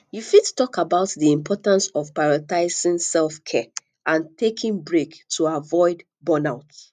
you fit talk about di importance of prioritizing selfcare and taking breaks to avoid burnout